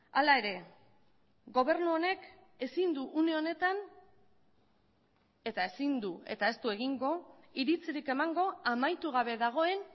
hala ere gobernu honek ezin du une honetan eta ezin du eta ez du egingo iritzirik emango amaitu gabe dagoen